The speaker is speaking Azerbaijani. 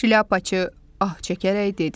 Şlyapaçı ah çəkərək dedi: